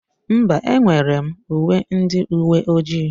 Mba, enwere m uwe ndị uwe ojii.